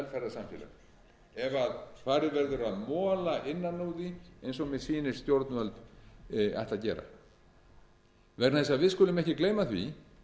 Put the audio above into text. farið verður að mola innan úr því eins og mér sýnist stjórnvöld ætla að gera við skulum ekki gleyma því